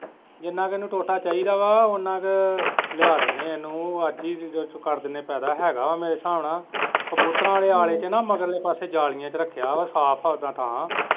ਜਿੰਨਾ ਕਿ ਇਹਨੂੰ ਟੋਟਾ ਚਾਹੀਦਾ ਵਾ ਉੰਨਾ ਕ ਲਿਆ ਦਿੰਦੇ ਹੈ ਉਹਨੂੰ ਅੱਜ ਹੀ ਕਰ ਦਿੰਦੇ ਹੈ ਗਾ ਹੈ ਮੇਰੇ ਸਾਬ ਨਾਲ ਕਬੂਤਰਾਂ ਆਲੇ ਆਲੇ ਚ ਨਾ ਮਗਰਲੇ ਪਾਸੇ ਜਾਲੀਆ ਚ ਰੱਖਿਆ ਹੈ ਸਾਫ ਹੈ ਉਦਾਂ ਤਾਂ।